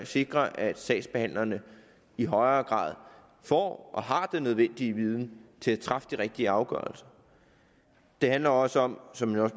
sikre at sagsbehandlerne i højere grad får og har den nødvendige viden til at træffe de rigtige afgørelser det handler også om som